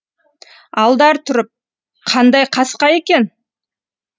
алдар тұрып қандай қасқа екен